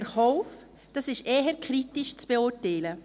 Dies ist eher kritisch zu beurteilen.